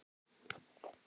Lárus hló.